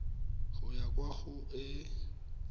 go ya kwa go e